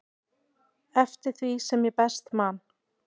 eftir því sem ég best man.